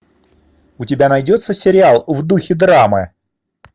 у тебя найдется сериал в духе драмы